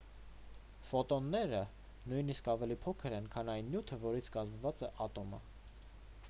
ֆոտոնները նույնիսկ ավելի փոքր են քան այն նյութը որից կազմված է ատոմը